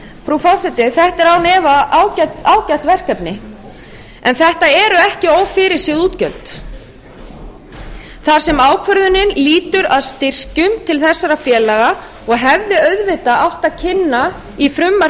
frú forseti þetta eru án efa ágæt verkefni en þetta eru ekki ófyrirséð útgjöld þar sem ákvörðunin lýtur að styrkjum til þessara félaga og hefði auðvitað átt að kynna í frumvarpi